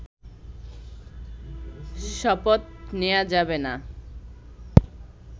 শপথ নেয়া যাবে না